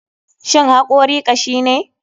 Shin hakori kashine?